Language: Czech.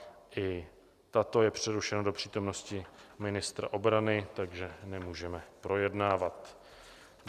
I tato je přerušena do přítomnosti ministra obrany, takže nemůžeme projednávat.